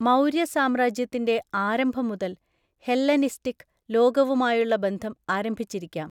മൗര്യ സാമ്രാജ്യത്തിന്റെ ആരംഭം മുതൽ ഹെല്ലനിസ്റ്റിക് ലോകവുമായുള്ള ബന്ധം ആരംഭിച്ചിരിക്കാം.